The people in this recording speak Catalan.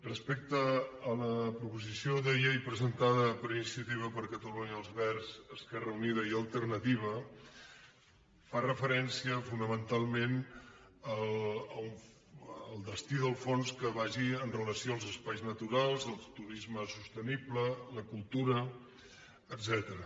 respecte a la proposició de llei presentada per iniciativa per catalunya verds esquerra unida i alternativa fa referència fonamentalment al destí del fons que vagi amb relació als espais naturals el turisme sostenible la cultura etcètera